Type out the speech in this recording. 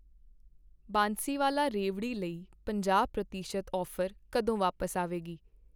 ਬਾਂਸੀਵਾਲਾ ਰੇਵਡੀ ਲਈ ਪੰਜਾਹ ਪ੍ਰਤੀਸ਼ਤ ਔਫ਼ਰ ਕਦੋਂ ਵਾਪਸ ਆਵੇਗੀ ?